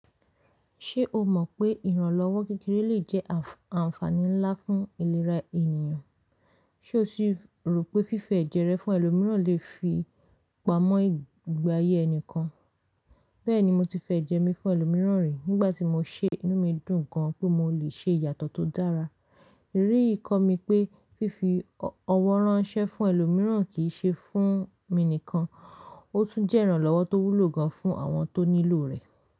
Ṣé o mọ̀ pé ìrànlọ́wọ́ kékeré lè jẹ́ àǹfààní ńlá fún ìlera ènìyàn? Ṣé o sì rò pé fífi ẹ̀jẹ́ rẹ fún ẹlòmíràn lè fi pamọ́ ìgbàyé ẹnìkan? Bẹ́ẹ̀ni, mo ti fi ẹ̀jẹ́ mi fún ẹlòmíràn rí, nígbà tí mo ṣe, inú mi dùn gan pé mo lè ṣe ìyàtọ̀ tó dára. Rí i kọ́ mi pé fífi ọwọ́ ránṣẹ́ fún ẹlòmíràn kì í ṣe fún mi nìkan, ó tún jẹ́ ìrànlọ́wọ́ tó wúlò gan fún àwọn tó nílò rẹ̀.